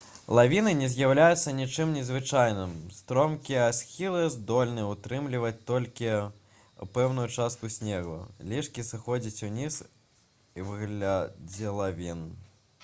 лавіны не з'яўляюцца нечым незвычайным стромкія схілы здольны ўтрымліваць толькі пэўную частку снегу лішкі сыходзяць уніз у выглядзе лавін